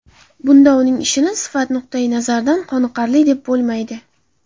Bunda uning ishini sifat nuqtayi nazaridan qoniqarli deb bo‘lmaydi.